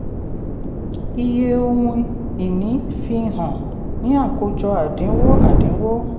iye ohun-ìní fi hàn ní àkójọ àdínwó. àdínwó.